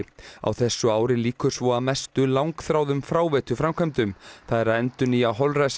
á þessu ári lýkur svo að mestu langþráðum fráveituframkvæmdum það er að endurnýja